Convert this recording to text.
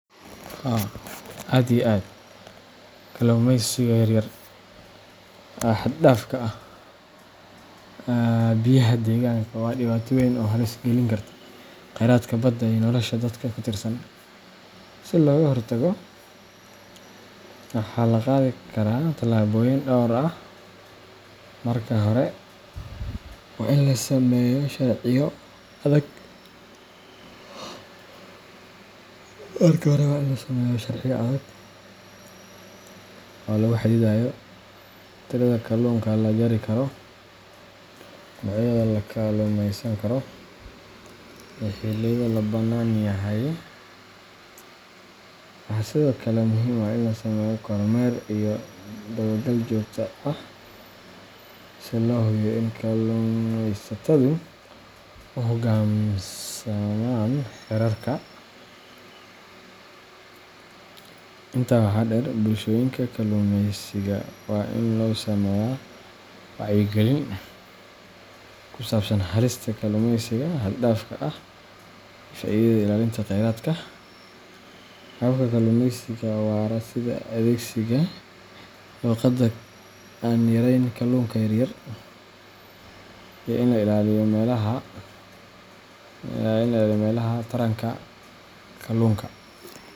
Haa aad iyo aad, kalluumeysiga yar yar xad-dhaafka ah ee biyaha deegaanka waa dhibaato weyn oo halis gelin karta khayraadka badda iyo nolosha dadka ku tiirsan. Si looga hortago, waxaa la qaadi karaa tallaabooyin dhowr ah. Marka hore, waa in la sameeyo sharciyo adag oo lagu xadidayo tirada kalluunka la jari karo, noocyada la kalluumeysan karo, iyo xilliyada la bannaan yahay. Waxaa sidoo kale muhiim ah in la sameeyo kormeer iyo dabagal joogto ah si loo hubiyo in kalluumeysatadu u hoggaansamaan xeerarka. Intaa waxaa dheer, bulshooyinka kalluumeysiga waa in loo sameeyaa wacyigelin ku saabsan halista kalluumeysiga xad-dhaafka ah iyo faa’iidada ilaalinta kheyraadka. Hababka kalluumeysiga waara sida adeegsiga shabaqyada aan yarayn kalluunka yaryar iyo in la ilaaliyo meelaha taranka kalluunka.